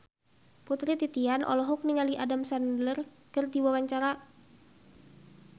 Putri Titian olohok ningali Adam Sandler keur diwawancara